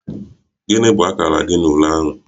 Gị bụ akara gị na ule ahụ?